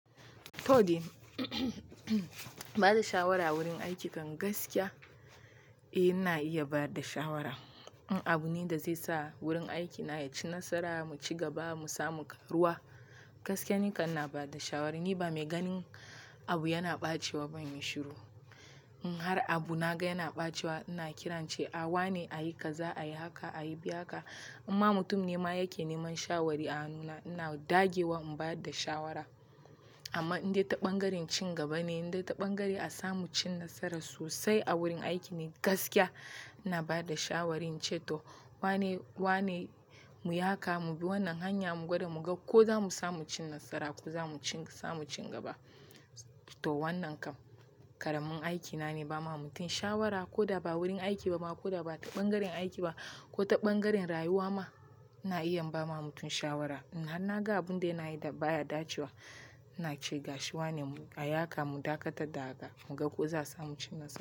To dai ba da shawara a wurin aiki kan gaskiya? Eh ina iya ba da shawara. In abu ne da zai sa wurin aikina ya ci nasara mu ci gaba mu samu ƙaruwa gaskiya nikan na ba da shawari. Ni ba mai ganin abu yana ɓacewa ba in yi shiru. In har abu naga yana ɓacewa ina kirance a wane a yi kaza a yi haka a yi bi haka. Imma mutum ne ma yake neman shawari a hannu na ina dagewa in bada shawara. Amma indai taɓangaren cin gaba ne indai taɓangaren a samu cin nasara sosai a wurin aiki ne gaskiya ina bada shawarin ce to wane wane mu yi haka mu bi wannan hanya mu gwada mu ga ko zamu samu cin nasara ko zamu ci samun cin gaba. To wannan kam ƙaramin aiki na ne ba ma mutum shawara koda ba wurin aiki ba ma koda ba taɓangarin aiki ba ko taɓangarin rayuwa ma ina iya imba ma mutum shawara. In har naga abun da yana yi da baya dacewa ina ce ga shi wane mu a yi haka mu dakatar da haka mu ga ko za'a samu cin nasara.